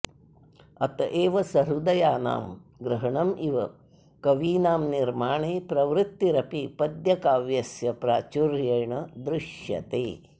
अत एव सहृदयानां ग्रहणमिव कवीनां निर्माणे प्रवृत्तिरपि पद्यकाव्यस्य प्राचुर्येण दृश्यते